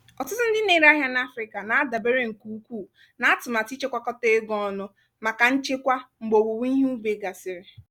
ọtụtụ ndị na-ere ahịa na afrịka na-adabere nke ukwuu na atụmatụ ichekwakọta ego ọnụ maka nchekwa mgbe owuwe ihe ubi gasịrị.